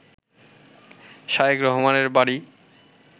শায়খ রহমানের বাড়ি